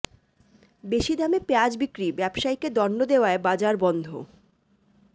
বেশি দামে পেঁয়াজ বিক্রি ব্যবসায়ীকে দণ্ড দেওয়ায় বাজার বন্ধ